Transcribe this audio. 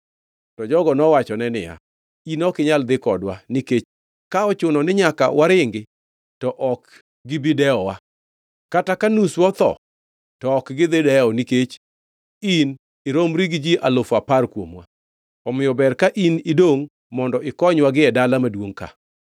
To jogo nowachone niya, “In ok inyal dhi kodwa, nikech ka ochuno ni nyaka waringi, to ok gibi dewowa. Kata ka nuswa otho to ok gidhi dewo nikech in iromri gi ji alufu apar kuomwa. Omiyo ber ka in idongʼ mondo ikonywa gie dala maduongʼ ka.”